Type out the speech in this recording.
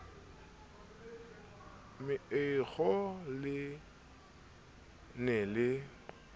meokgo na le ne le